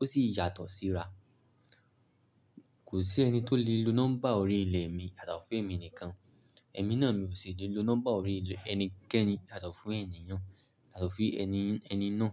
ó sì yàtọ̀ síra. Kò sí ẹni tó lè lo nọ́mbà orí ilẹ̀ mi yàtọ̀ fún èmi nìkan. Ẹ̀mí náà mi ò sì lè lo nọ́mbà orí ilẹ̀ ẹnikẹ́ni yàtọ̀ fún ẹni yan, yàtọ̀ fún ẹni, ẹni náà.